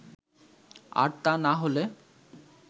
আর তা না হলে